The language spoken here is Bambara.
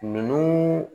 Nunnu